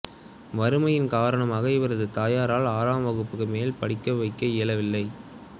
வறுமையின் காரணமாக இவரது தாயாரால் ஆறாம் வகுப்புக்குமேல் படிக்க வைக்க இயலவில்லை